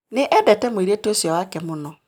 Nĩ endete mũirĩtu ũcio wake mũno